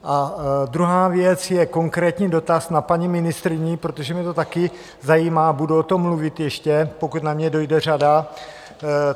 A druhá věc je konkrétní dotaz na paní ministryni, protože mě to taky zajímá, budu o tom mluvit ještě, pokud na mě dojde řada.